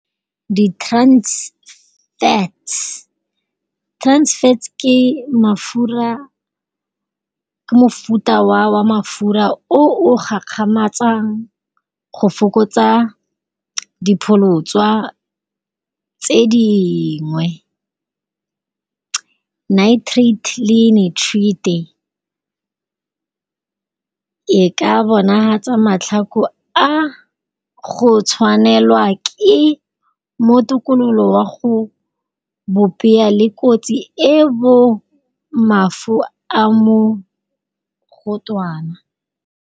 Di transfats, transfats ke mafura, ke mofuta wa mafura o o gakgamatsang go fokotsa dipholotswa tse dingwe. Night treat le netreat-e e ka bona tsa matlhoko a, go tshwanelwa ke, mo tokololo wa go bopea le kotsi e bo mafu a mo gotwana.